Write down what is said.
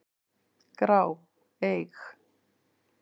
grá, eig.